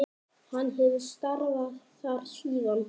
Hann hefur starfað þar síðan.